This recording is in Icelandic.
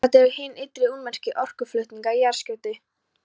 Þetta eru hin ytri ummerki orkuflutninga í jarðskorpunni.